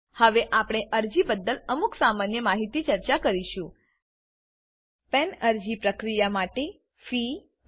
હવે આપણે અરજી બદ્દલ અમુક સામાન્ય માહિતી ચર્ચા કરીશું પાન પેન અરજી પ્રક્રિયા માટેની ફી રૂ